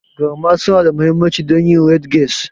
Garma suna da mahimmanci don yin ridges.